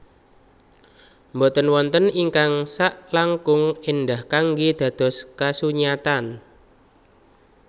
Boten wonten ingkang saklangkung éndah kanggé dados kasunyatan